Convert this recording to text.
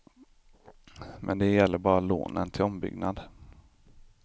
Men det gäller bara lånen till ombyggnad.